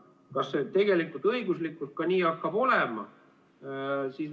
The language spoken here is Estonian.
Kas see tegelikult õiguslikult nii hakkab olema?